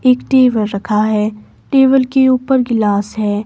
एक टेबल रखा है टेबल के ऊपर ग्लास है।